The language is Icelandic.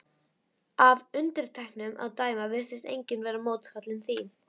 Af undirtektunum að dæma virtist enginn vera mótfallinn því.